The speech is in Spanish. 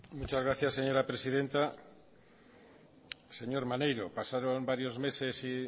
muchas gracias señora presidenta señor maneiro pasaron varios meses y